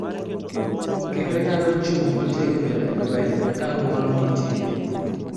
Kendo nyalo chung� motegno e lweny ka ng�uono nitie.